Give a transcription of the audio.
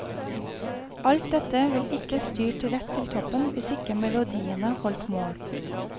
Alt dette ville ikke styrt rett til toppen hvis ikke melodiene holdt mål.